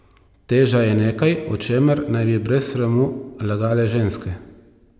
Teža je nekaj, o čemer naj bi brez sramu lagale ženske.